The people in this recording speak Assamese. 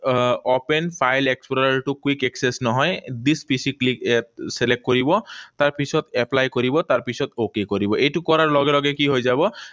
আহ Open file explorer টো quick access নহয়। Build PC quick ইয়াত select কৰিব। তাৰপিছত apply কৰিব, তাৰপিছত okay কৰিব। এইটো কৰাৰ লগে লগে কি হৈ যাব?